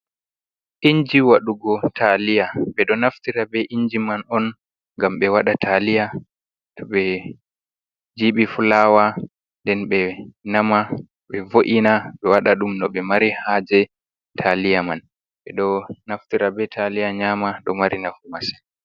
Inji waɗugo taliya: Ɓeɗo naftira be inji man on ngam ɓe waɗa taliya. To ɓe jibi fulawa nden ɓe nama, ɓe vo’ina, ɓe waɗa ɗum no ɓe mari haaje taliya man. Ɓeɗo naftira be taliya nyama ɗo mari nafu masin.